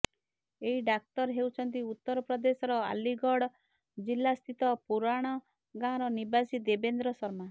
ଏହି ଡାକ୍ତର ହେଉଛନ୍ତି ଉତ୍ତର ପ୍ରଦେଶର ଅଲିଗଢ ଜିଲ୍ଲା ସ୍ଥିତ ପୁରୁାଣ ଗାଁର ନିବାସୀ ଦେବେନ୍ଦ୍ର ଶର୍ମା